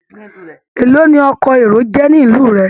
Èló ni ọkọ̀ èrò jẹ́ ní ìlú rẹ?